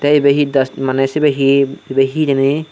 te ibe hi das maney sibey hi ibey hi hijeni.